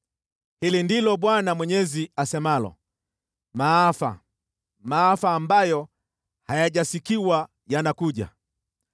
“Hili ndilo Bwana Mwenyezi asemalo: Maafa! Maafa ambayo hayajasikiwa yanakuja.